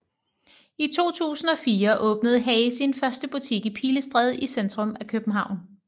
I 2004 åbnede HAY sin første butik i Pilestræde i centrum af København